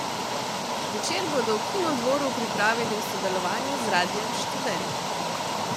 Večer bodo v Kinodvoru pripravili v sodelovanju z Radiem Študent.